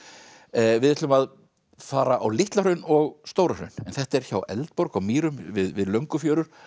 við ætlum að fara á Litla Hraun og Stóra Hraun en þetta er hjá Eldborg á Mýrum við Löngufjörur